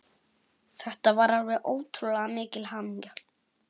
Þetta var alveg ótrúlega mikil hamingja.